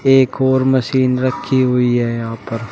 एक और मशीन रखी हुई है यहां पर।